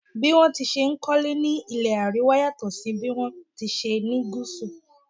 Bí wón ti n ṣe kólé ní ilé Àríwá yàtò sí bí wọn tí ṣe ni Gúsù.